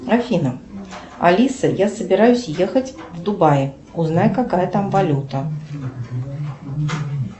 афина алиса я собираюсь ехать в дубаи узнай какая там валюта